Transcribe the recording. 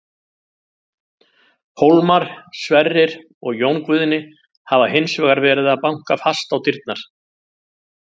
Hólmar, Sverrir og Jón Guðni hafa hins vegar verið að banka fast á dyrnar.